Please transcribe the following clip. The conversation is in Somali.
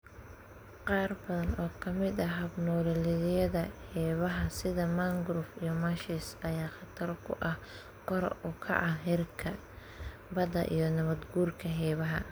Qaar badan oo ka mid ah hab-nololeedyada xeebaha, sida mangroves iyo marshes, ayaa khatar ku ah kor u kaca heerka badda iyo nabaad guurka xeebaha.